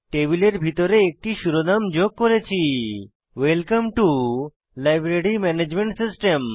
টেবিলের ভিতরে একটি শিরোনাম যোগ করেছি welcome to library management system